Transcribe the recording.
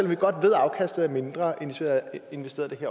vi godt ved at afkastet er mindre end hvis vi havde investeret